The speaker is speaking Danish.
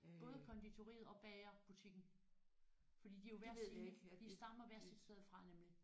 Både konditoriet og bagerbutikken fordi de er jo hver sin de stammer hvert sit sted fra nemlig